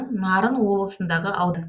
нарын облысындағы аудан